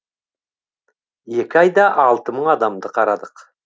екі айда алты мың адамды қарадық